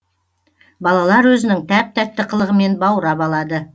балалар өзінің тәп тәтті қылығымен баурап алады